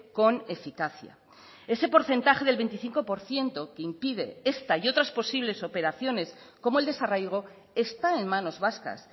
con eficacia ese porcentaje del veinticinco por ciento que impide esta y otras posibles operaciones como el desarraigo está en manos vascas